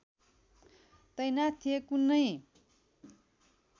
तैनाथ थिए कुनै